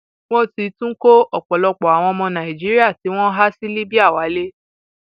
wọn ti tún kó ọpọlọpọ àwọn ọmọ nàìjíríà tí wọn há sí libya wálé